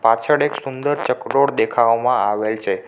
પાછળ એક સુંદર ચકડોળ દેખાવામાં આવેલ છે.